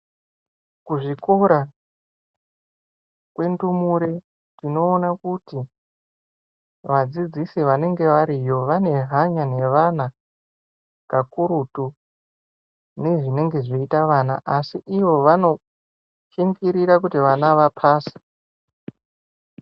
Kuzvikora kwendumure tinoona kuti vadzidzisi vanenge variyo vane hanya nevana kakurutu nezvinenge zveita vana asi ivo vanoshingirira kuti vana vapase.